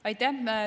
Aitäh!